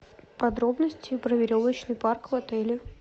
подробности про веревочный парк в отеле